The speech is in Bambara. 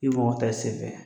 I mɔgɔ tɛ senfɛ